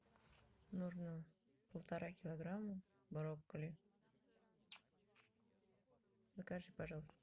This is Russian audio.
нужно полтора килограмма брокколи закажи пожалуйста